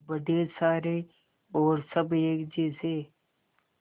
बड़े सारे और सब एक जैसे